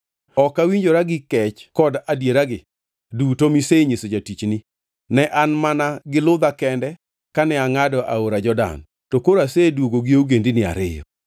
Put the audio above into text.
ok awinjora gi kech kod adieragi duto misenyiso jatichni. Ne an mana gi ludha kende kane angʼado aora Jordan, to koro aseduogo gi ogendini ariyo.